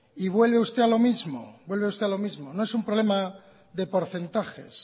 y vuelve usted a lo mismo vuelve usted a lo mismo no es un problema de porcentajes